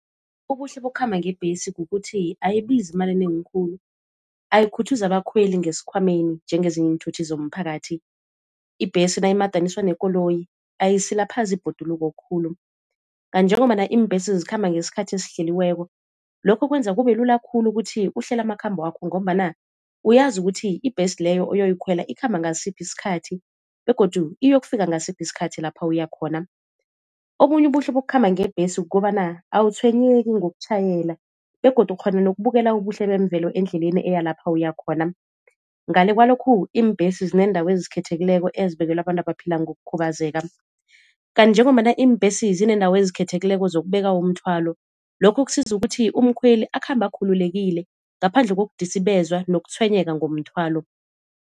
Ubuhle bokukhamba ngebhesi kukuthi ayibizi imali enengi khulu, ayikhuthuzi abakhweli ngesikhwameni njengezinye iinthuthi zomphakathi. Ibhesi nayimadaniswa nekoloyi ayisilaphazi ibhoduluko khulu. Kanti njengombana iimbhesi zikhamba ngesikhathi esihleliweko lokho kwenza kubelula khulu ukuthi uhlele amakhambo wakho ngombana uyazi ukuthi ibhesi leyo oyoyikhwela ikhamba ngasiphi isikhathi, begodu iyokufika ngasiphi isikhathi lapha uyakhona. Obunye ubuhle bokukhamba ngebhesi kukobana awutshwenyeki ngokutjhayela begodu ukghona nokubukela ubuhle bemvelo endleleni eya lapha uyakhona. Ngale kwalokhu iimbhesi zinendawo ezikhethekileko ezibekelwe abantu abaphila ngokukhubazeka. Kanti njengombana iimbhesi zinendawo ezikhethekileko zokubeka umthwalo lokho kusiza ukuthi umkhweli akhambe akhululekile, ngaphandle kokudisibezwa nokutshwenyeka ngomthwalo.